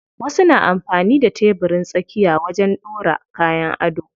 Wasu na amfani da tebirin tsakiya wajen ɗora kayan ado.